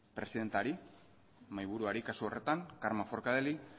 presidentari mahaiburuari kasu horretan carme forcadelli